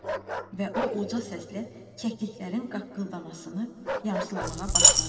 Və o uca səslə kəkliklərin qaqqıldamasını yamsılamağa başladı.